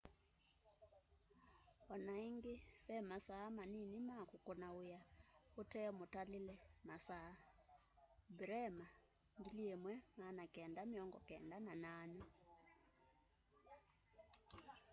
onaĩngĩ vemasaa manini ma kũkũna wĩa ũtemũtalĩle masaa. bremer 1998